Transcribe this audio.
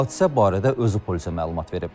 Hadisə barədə özü polisə məlumat verib.